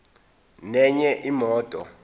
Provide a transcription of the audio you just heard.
nenye imoto